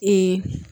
Ee